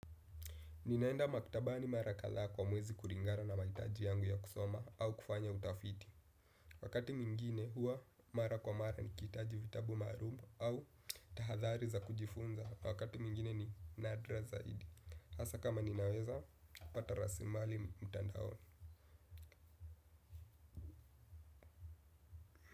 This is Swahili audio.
Ninaenda maktabani mara kadhaa kwa mwezi kulingana na mahitaji yangu ya kusoma au kufanya utafiti. Wakati mwingine huwa mara kwa mara nikihitaji vitabu maalumu au tahadhari za kujifunza wakati mwingine ni nadra zaidi. Hasa kama ninaweza, pata rasimali mtandaoni.